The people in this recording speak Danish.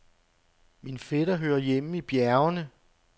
Min fætter hører hjemme i bjergene.